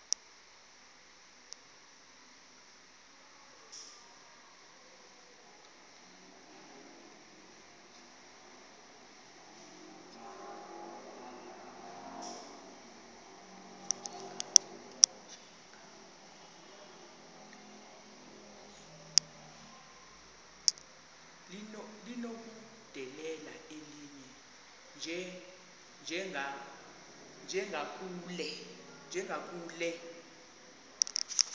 linokudedela elinye njengakule